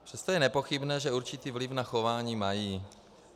Přesto je nepochybné, že určitý vliv na chování mají.